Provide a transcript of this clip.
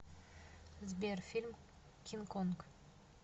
сбер фильм кин конг